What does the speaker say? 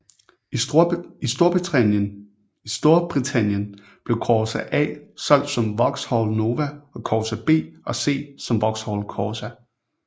I Storbritannien blev Corsa A solgt som Vauxhall Nova og Corsa B og C som Vauxhall Corsa